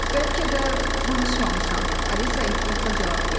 Bəlkə də danışmamışam, Alisa ehtiyatla cavab verdi.